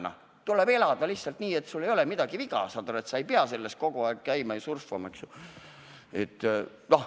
Noh, siis tuleb elada lihtsalt nii, et sul poleks midagi viga ja sa ei peaks selles süsteemis kogu aeg käima ja surfama.